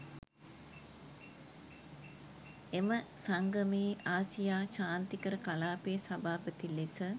එම සංගමයේ ආසියා ශාන්තිකර කලාපයේ සභාපති ලෙස